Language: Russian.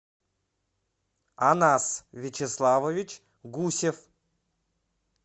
анас вячеславович гусев